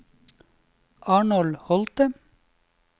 Arnold Holte